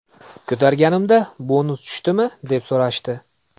Ko‘targanimda ‘bonus tushdimi?’ deb so‘rashdi.